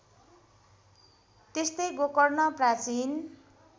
त्यस्तै गोकर्ण प्राचीन